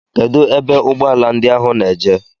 Kedụ ebe ụgbọala ndị ahụ na-eje?